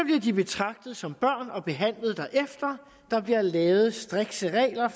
de betragtet som børn og behandlet derefter der bliver lavet strikse regler